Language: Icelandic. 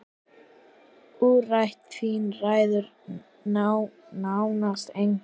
Umrætt þing ræður nánast engu.